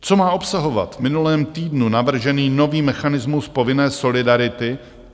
Co má obsahovat v minulém týdnu navržený nový mechanismus povinné solidarity?